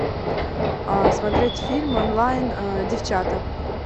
смотреть фильм онлайн девчата